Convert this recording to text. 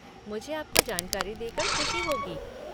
मुझे आपको जानकारी देकर ख़ुशी होगी।